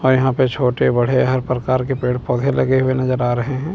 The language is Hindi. और यहां पर छोटे-बड़े हर प्रकार के पेड़-पौधे लगे हुए नजर आ रहे हैं।